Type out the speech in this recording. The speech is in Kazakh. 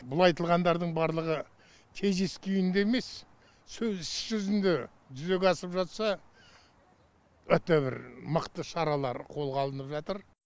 бұл айтылғандардың барлығы тезис күйінде емес сөз іс жүзінде жүзеге асып жатса өте бір мықты шаралар қолға алынып жатыр